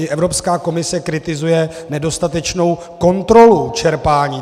I Evropská komise kritizuje nedostatečnou kontrolu čerpání.